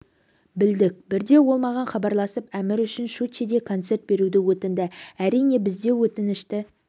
білдік бірде ол маған хабарласып әмір үшін щучьеде концерт беруді өтінді әрине біз де өтінішті